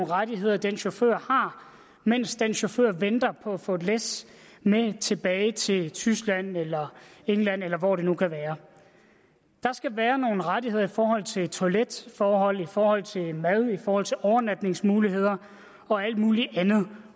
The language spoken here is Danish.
rettigheder den chauffør har mens den chauffør venter på at få et læs med tilbage til tyskland england eller hvor det nu kan være der skal være nogle rettigheder i forhold til toiletforhold i forhold til mad i forhold til overnatningsmuligheder og alt muligt andet